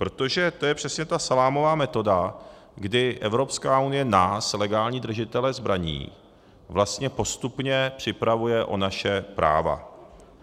Protože to je přesně ta salámová metoda, kdy Evropská unie nás, legální držitele zbraní, vlastně postupně připravuje o naše práva.